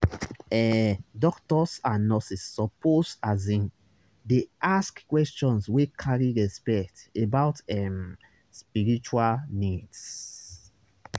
ehh doctors and nurses suppose asin dey ask questions wey carry respect about ehm spiritual needs.